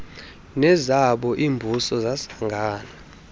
nezabo iimbuso zasangana